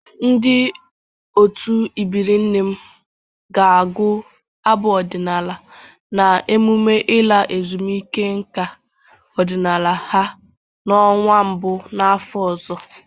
Ndị otu ebiri nne m ga-agụ abụ ọdịnala na eMụme ịla ezumike nka ọdịnala ha n'ọnwa mbụ n'afọ ọzọ.